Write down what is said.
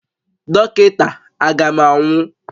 Dọkịta, A ga m anwụ?